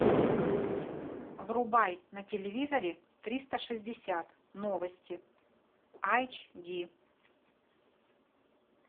врубай на телевизоре триста шестьдесят новости айч ди